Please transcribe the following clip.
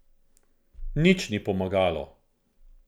Nič ni pomagalo.